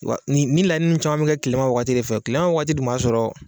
Wa nin laɲini ninnu caman mɛ kɛ kilema wagati de fɛ kilema wagati dun m'a sɔrɔ